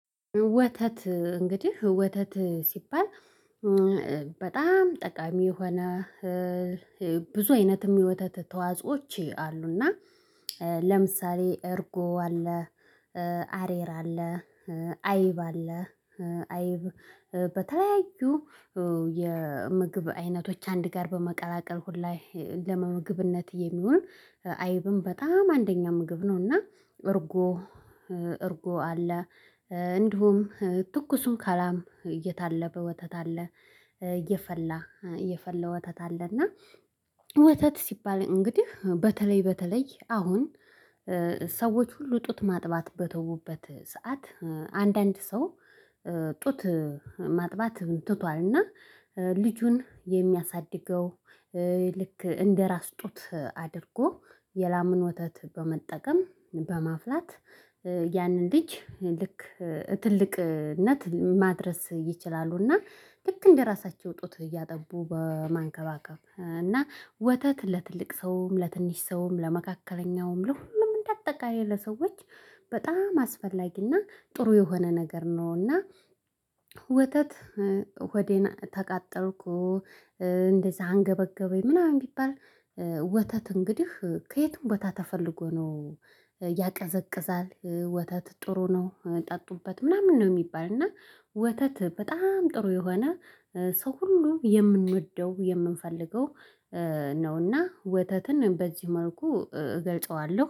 ወተት እንግዲህ ወተት ሲባል በጣም ጠቃሚ የሆነ ብዙ አይነትም የወተት ተዋጾዎች አሉና። ለምሳሌ እርጎ አለ። አሬራ አለ። አይብ አለ። አይብ በተለያዩ የምግብ አይነቶች አንድ ጋር በመቀላቀል ሁላ ለምግብነት የሚሆን አይብም በጣም አንደኛ ምግብ ነውና። እርጎ እርጎ አለ። እንዲሁም ትኩሱን ከላም እየታለበ ወተት አለ። እየፈላ እየፈለ ወተት አለና። ወተት ሲባል እንግዲህ በተለይ በተለይ አሁን። ሰዎች ሁሉ ጡት ማጥባት በተውበት ሰዓት አንዳንድ ሰው ጡት ማጥባት ትቷልና። ልጁን የሚያሳድገው ልክ እንደራስ ጡት አድርጎ የላምን ወተት በመጠቀም በማፍላት ያንን ልጅ ልክ ትልቅነት ማድረስ ይችላሉ። እና ልክ እንደራሳቸው ጡት እያጠቡ በመንከባከብ እና ወተት ለትልቅ ሰውም ለትንሽ ሰውም ለመካከለኛውም ለሁሉም እንዳጠቃላይ ለሰዎች በጣም አስፈላጊና ጥሩ የሆነ ነገር ነውና። ወተት ሆዴን ተቃጠልኩ እንደዚህ አንገበገበኝ ምናምን ቢባል። ወተት እንግዲህ ከየቱም ቦታ ተፈልጎ ነው። ያቀዘቅዛል ወተት ጥሩ ነው ጠጡበት ምናምን ነው የሚባል እና። ወተት በጣም ጥሩ የሆነ ሰው ሁሉ የምንወደው የምንፈልገው ነው። እና ወተትን በዚህ መልኩ እገልጸዋለሁ